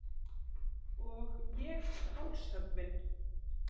Og ég hálshöggvin.